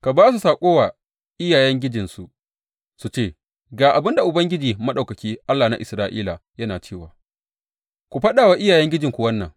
Ka ba su saƙo wa iyayengijinsu su ce, Ga abin da Ubangiji Maɗaukaki, Allah na Isra’ila, yana cewa, Ku faɗa wa iyayengijinku wannan.